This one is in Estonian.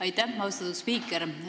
Aitäh, austatud spiiker!